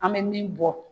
An bɛ min bɔ